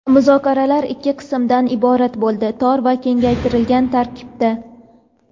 Muzokaralar ikki qismdan iborat bo‘ldi: tor va kengaytirilgan tarkibda.